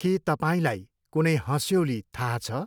के तपाईँलाई कुनै हँस्यौली थाहा छ?